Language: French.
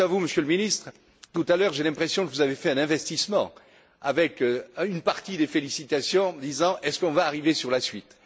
Quant à vous, Monsieur le Ministre, tout à l'heure, j'ai l'impression que vous avez fait un investissement avec une partie des félicitations en disant Est ce qu'on va arriver sur la suite?.